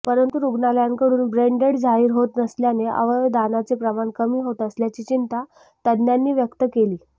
परंतु रुग्णालयांकडून ब्रेनडेड जाहीर होत नसल्याने अवयवदानाचे प्रमाण कमी होत असल्याची चिंता तज्ज्ञांनी व्यक्त केली